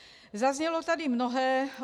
Zaznělo tady mnohé.